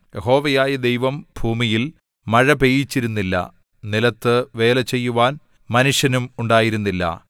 യഹോവയായ ദൈവം ഭൂമിയിൽ മഴ പെയ്യിച്ചിരുന്നില്ല നിലത്ത് വേലചെയ്യുവാൻ മനുഷ്യനും ഉണ്ടായിരുന്നില്ല